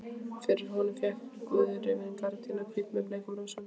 Fyrir honum hékk gauðrifin gardína, hvít með bleikum rósum.